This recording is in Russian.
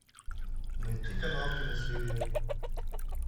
найти канал киносерия